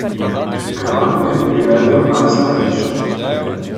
Kralj mu je privedel najstarejšo.